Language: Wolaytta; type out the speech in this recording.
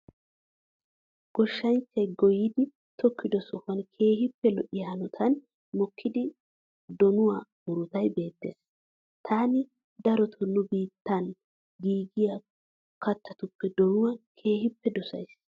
Goshshanchchay goyidi tokkido sohuwan keehippe lo'iya hanotan mokkida donuwa murutay beettees. Taani darotoo nu biittan giigiya kattattuppe donuwa keehippe dosayiis.